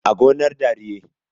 a gonar dariye